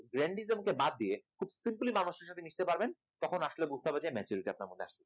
randism কে বাদ দিয়ে খুব simply মানুষের সাথে মিশতে পারবেন তখন আসলে বুঝতে হবে যে maturity আপনার মধ্যে আছে